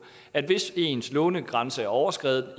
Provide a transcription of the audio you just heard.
at hvis ens lånegrænse er overskredet